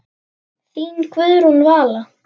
Þín Guðrún Vala.